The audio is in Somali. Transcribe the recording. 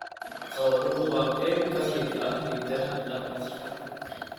Xooluhu waa qayb ka mid ah hidaha dhaqanka.